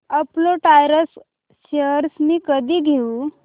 Apollo tyres shares मी कधी घेऊ